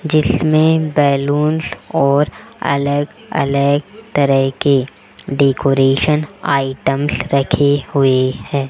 जिसमें बलूंस और अलग अलग तरह के डेकोरेशन आइटम्स रखे हुए है।